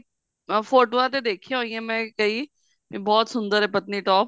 ਅਹ ਫੋਟੋਆਂ ਤਾਂ ਦੇਖੀਆ ਹੋਈਆਂ ਮੈਂ ਕਈ ਬਹੁਤ ਸੁੰਦਰ ਹੈ patnitop